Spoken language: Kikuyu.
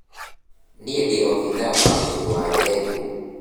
Niĩ ndĩ obithaa wa ũrĩmi wa ndengũ